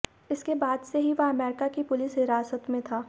इसके बाद से ही वह अमेरिका की पुलिस हिरासत में था